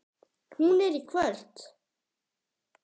Hún er í kvöld.